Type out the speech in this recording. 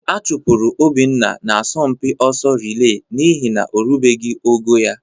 A chụpụrụ Obinna n'asọmpi ọsọ rịlee n'ihi na o rubeghị ogo ya